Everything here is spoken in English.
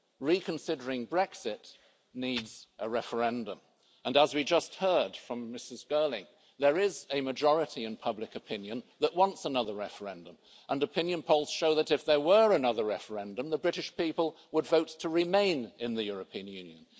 Reconsidering Brexit needs a referendum and, as we just heard from Ms Girling, there is a majority in public opinion that wants another referendum and opinion polls show that, if there were another referendum, the British people would vote to remain in the European Union.